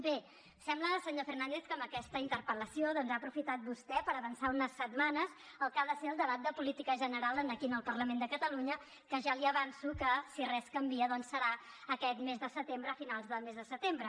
bé sembla senyor fernández que amb aquesta interpel·lació ha aprofitat vostè per avançar unes setmanes el que ha de ser el debat de política general aquí en el parlament de catalunya que ja li avanço que si res canvia doncs serà aquest mes de setembre a finals del mes de setembre